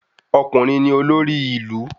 Ọkùnrin ni olórí ilu